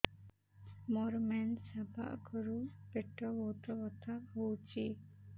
ମୋର ମେନ୍ସେସ ହବା ଆଗରୁ ପେଟ ବହୁତ ବଥା ହଉଚି